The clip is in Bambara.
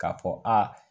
K'a fɔ aa